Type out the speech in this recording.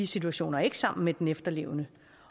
situation ikke sammen med den efterlevende